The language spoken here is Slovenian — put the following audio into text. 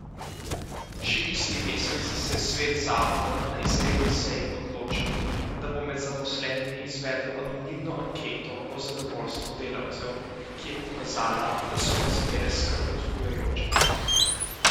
Še isti mesec se je svet zavoda na izredni seji odločil, da bo med zaposlenimi izvedel anonimno anketo o zadovoljstvu delavcev, ki je pokazala, da so razmere skrb vzbujajoče.